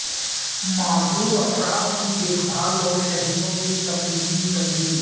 معذور افراد کی دیکھ بھال اور شہریوں کی تفریحی تنظیم